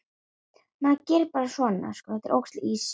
Hvött áfram af mömmu leita ég Arndísar.